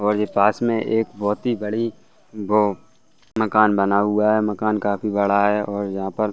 और जे पास में एक बोहोत ही बड़ी मकान बना हुआ है। मकान काफ़ी बड़ा है और यहाँ पर --